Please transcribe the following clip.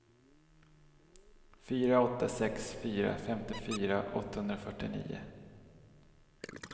fyra åtta sex fyra femtiofyra åttahundrafyrtionio